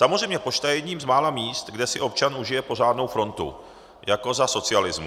Samozřejmě je pošta jedním z mála míst, kde si občan užije pořádnou frontu jako za socialismu.